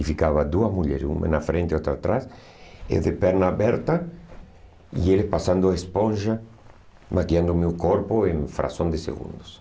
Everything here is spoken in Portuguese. E ficavam duas mulheres, uma na frente e outra atrás, e de pernas abertas, e ele passando esponja, maquiando o meu corpo em uma fração de segundos.